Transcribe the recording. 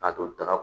A don taga